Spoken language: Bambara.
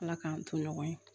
Ala k'an to ɲɔgɔn ye